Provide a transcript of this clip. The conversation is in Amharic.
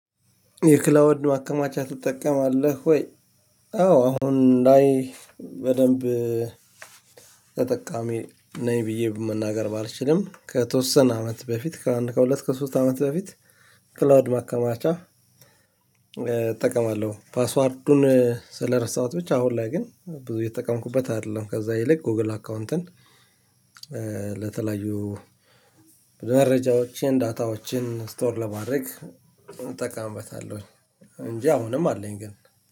የክላውንድ ማከማቻ ትጠቀማለህ ወይ? አዎ አሁን ላይ በደንብ ተጠቃሚ ነኝ ብዬ በመናገር ባልችልም ከተወሰነ አመት በፊት ከአንድ ከሁለት ከሶስት አመት በፊት። ክለውድ ማከማቻ እጠቀማለሁ ፓስዋርዱን ስለረሳኋት ብቻ አሁን ላይ ግን ብዙ የተጠቀምኩበት አይደለም። ከዛ ይልቅ ጎግል አካውንትን ለተለያዩ መረጃዎችን ዳታዎችን ስቶር ለማድረግ እጠቀምበታለሁኝ። እንጂ አሁንም አለኝ ግን